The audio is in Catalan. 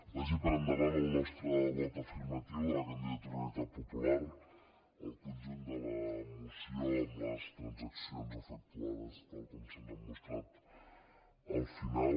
vagi per endavant el nostre vot afirmatiu de la candidatura d’unitat popular al conjunt de la moció amb les transaccions efectuades tal com se’ns han mostrat al final